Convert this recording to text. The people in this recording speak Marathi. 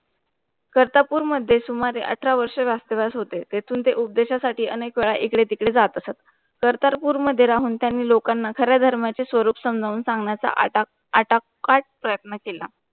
कर्तारपूर मध्ये सुमरे अठरा वर्ष राष्ट्रदास होते, तेथून ते उपदेश साठी अनेकवेळा इकडे तिकडे जात असत. कर्तारपूर मध्ये राहून त्यांनी लोकांना खऱ्या धर्माची स्वरूप समजावून सांगण्याचा आता - आताकात प्रयत्न केला.